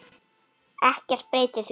Ekkert breytir því.